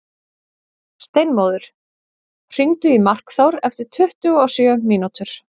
Steinmóður, hringdu í Markþór eftir tuttugu og sjö mínútur.